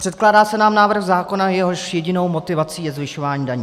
Předkládá se nám návrh zákona, jehož jedinou motivací je zvyšování daní.